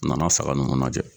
A nana saga ninnu najɛ.